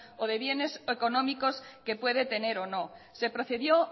o de bienes económicos que puede tener o no se procedió